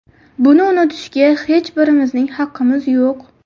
Buni unutishga hech birimizning haqqimiz yo‘q.